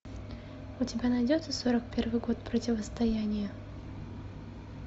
у тебя найдется сорок первый год противостояние